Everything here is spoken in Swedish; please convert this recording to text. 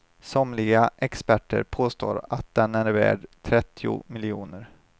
Somliga experter påstår att den är värd trettio miljoner.